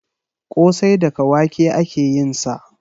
Ƙosai daga wake ake yin sa